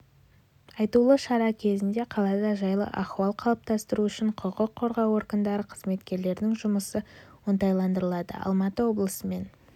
айтулы шара кезінде қалада жайлы ахуал қалыптастыру үшін құқық қорғау органдары қызметкерлерінің жұмысы оңтайландырылады алматы облысымен